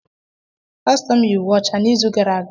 Pastọ m yi uwe ọcha n’izu gara aga.